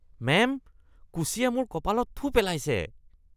Ma'am, কুশ্বিয়ে মোৰ কপালত থু পেলাইছে।